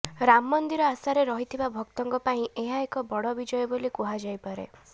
ରାମ ମନ୍ଦିର ଆଶାରେ ରହିଥିବା ଭକ୍ତଙ୍କ ପାଇଁ ଏହା ଏକ ବଡ଼ ବିଜୟ ବୋଲି କୁହାଯାଇପାରେ